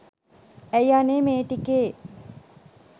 ඇයි අනේ මේ ටිකේ